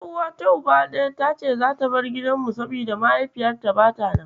Ƴar'uawata Uba ɗaya tace zata bar gidanmu, saboda mahaifiyarta bata nan.